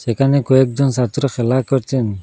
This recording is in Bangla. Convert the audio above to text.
এখানে কয়েকজন সাত্ররা খেলা করছেন।